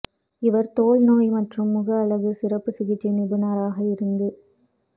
இவர் தோல் நோய் மற்றும் முக அழகு சிறப்பு சிகிச்சை நிபுணராக இருந்து